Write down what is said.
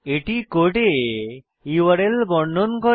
এটি কোডে ইউআরএল বর্ণন করে